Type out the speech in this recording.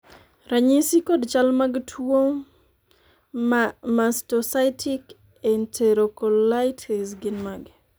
ranyisi kod chal mag tuo mastocytic enterocolitis gin mage?